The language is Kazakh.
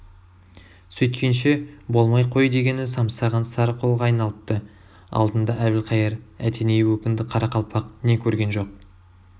сөйткенше болмай қой дегені самсаған сары қолға айналыпты алдында әбілхайыр әтеней өкінді қарақалпақ не көрген жоқ